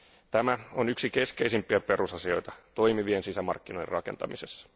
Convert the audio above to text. Tämä on yksi keskeisimpiä perusasioita toimivien sisämarkkinoiden rakentamisessa.